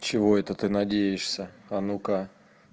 чего это ты надеешься а ну-ка